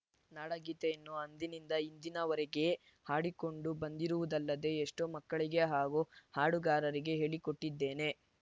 ನಾಡಗೀತೆಯನ್ನು ಅಂದಿನಿಂದ ಇಂದಿನವರೆಗೆ ಹಾಡಿಕೊಂಡು ಬಂದಿರುವುದಲ್ಲದೆ ಎಷ್ಟೋ ಮಕ್ಕಳಿಗೆ ಹಾಗೂ ಹಾಡುಗಾರರಿಗೆ ಹೇಳಿಕೊಟ್ಟಿದ್ದೇನೆ